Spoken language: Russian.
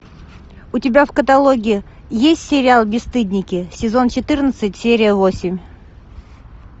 у тебя в каталоге есть сериал бесстыдники сезон четырнадцать серия восемь